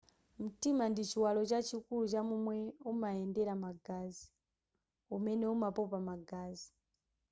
mtima ndi chiwalo chachikulu cha momwe amayendera magazi umene umapopa magazi